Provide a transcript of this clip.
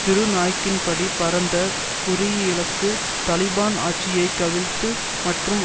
திரு நாய்க்கின்படி பரந்த குறியிலக்கு தலிபான் ஆட்சியை கவிழ்த்து மற்றும்